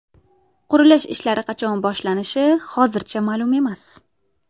Qurilish ishlari qachon boshlanishi hozircha ma’lum emas.